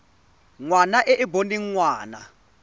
ngwana e e boneng ngwana